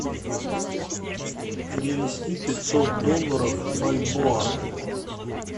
перевести пятьсот долларов в бальбоа